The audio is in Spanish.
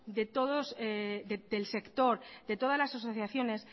del sector de todas las asociaciones